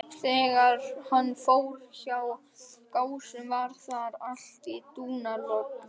Þegar hann fór hjá Gásum var þar allt í dúnalogni.